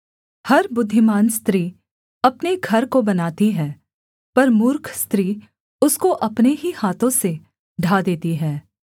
हर बुद्धिमान स्त्री अपने घर को बनाती है पर मूर्ख स्त्री उसको अपने ही हाथों से ढा देती है